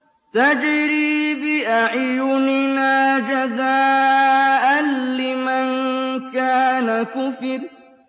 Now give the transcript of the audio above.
تَجْرِي بِأَعْيُنِنَا جَزَاءً لِّمَن كَانَ كُفِرَ